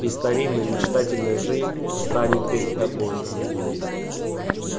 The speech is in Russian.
и старинная мечтательная жизнь встанет перед тобою